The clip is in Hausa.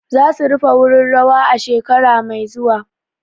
Za su rufe wurin rawa a shekara mai zuwa.